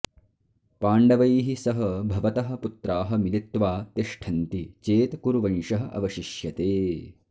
पाण्डवैः सह भवतः पुत्राः मिलित्वा तिष्ठन्ति चेत् कुरुवंशः अवशिष्यते